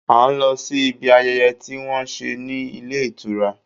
À ń lọ sí ibi ayẹyẹ tí wọ́n ń ṣe ní ilé ìtura.